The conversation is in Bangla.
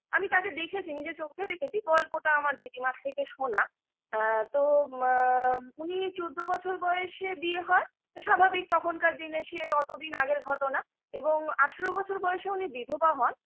আমি তাকে দেখেছি নিজের চোখে দেখেছি গল্পটা আমার দিদিমার থেকে শোনা আ তো মা উনি চৌদ্দ বছর বয়সে বিয়ে হয় স্বাভাবিক তখনকার দিনে সে অতদিন আগের ঘটনা এবং আঠারো বছর বয়সে উনি বিধবা হন